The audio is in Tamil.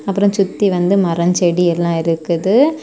அப்புற சுத்தி வந்து மரம் செடி எல்லா இருக்குது.